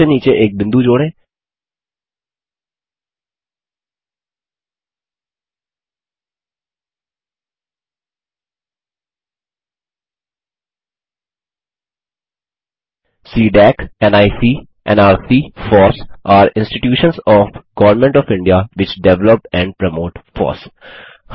सबसे नीचे एक बिंदु जोड़ें CDAC NIC nrc FOSS are institutions of government of India which develop and promote FOSS